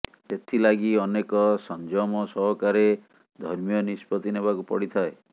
ସେଥିଲାଗି ଅନେକ ସଂଜମ ସହକାରେ ଧର୍ମୀୟ ନିଷ୍ପତ୍ତି ନେବାକୁ ପଡ଼ିଥାଏ